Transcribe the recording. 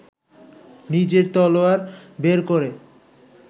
নিজের তলোয়ার বের করে